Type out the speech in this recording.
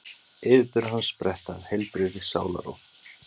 Yfirburðir hans spretta af heilbrigðri sálarró.